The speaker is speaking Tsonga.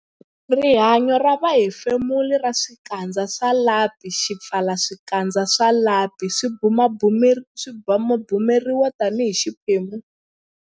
Rihanyo ra vuhefemuri ra swipfalaxikandza swa lapi Swipfalaxikandza swa lapi swi bumabumeriwa tanihi xiphemu xa rihanyo ra vuhefemuri kumbe matikhomelo ya kahle.